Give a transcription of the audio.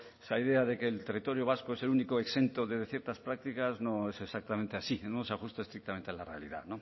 esa idea de que el territorio vasco es el único exento de ciertas prácticas no es exactamente así no se ajusta estrictamente a la realidad